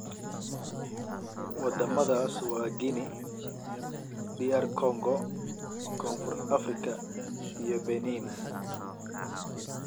Wadamadaas waa Guinea, DR Congo, Koonfur Afrika iyo Benin.